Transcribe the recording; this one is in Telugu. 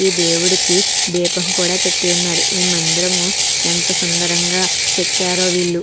ఈ దేవుడికి దీపం కూడా పెట్టి వున్నది ఈ మందిరము ఎంత సుందరంగా చెక్కారో వీళ్ళు --